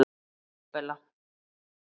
Ísabella